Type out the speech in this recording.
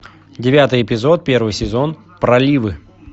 девятый эпизод первый сезон проливы